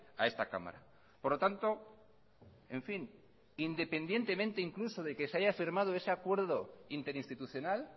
a esta cámara por lo tanto en fin independientemente incluso de que se haya firmado ese acuerdo interinstitucional